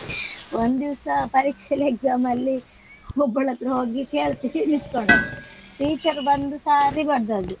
ಒಂದಿವಸ ಪರೀಕ್ಷೆಲಿ exam ಅಲ್ಲಿ ಒಬ್ಬಳತ್ರ ಹೋಗಿ ಕೇಳ್ತಾ ನಿಂತಕೊಂಡದ್ದು teacher ಬಂದು ಸರ್ರಿ ಬಡದದ್ದು.